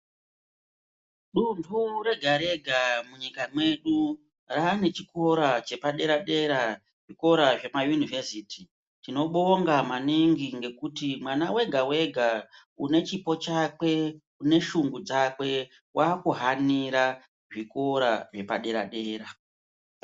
Dundu rega rega munyika mwedu rane chikora chepadera dera zvikora zvemayunivhesiti tinobonga maningi ngekuti mwana wega wega unechipo chakwe, une shungu dzakwe wakuhanira zvikora zvepadera dera.